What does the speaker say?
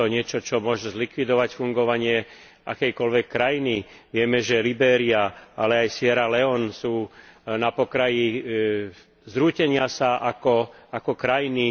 Je to niečo, čo môže zlikvidovať fungovanie akejkoľvek krajiny. Vieme, že Libéria, ale aj Sierra Leone sú na pokraji zrútenia sa ako krajiny.